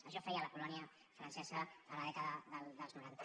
això feia la colònia francesa a la dècada dels noranta